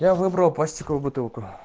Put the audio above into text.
я выбрал пластиковую бутылку